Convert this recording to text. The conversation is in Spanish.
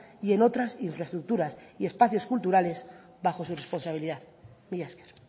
y en otras infraestructuras y espacios culturales bajo su responsabilidad mila esker